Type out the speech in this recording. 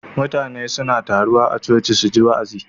Mutane suna taruwa a choci suji wa'azi